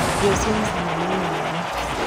Irio cina cama nĩ nyingĩ